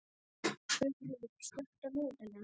Guðfríður, slökktu á niðurteljaranum.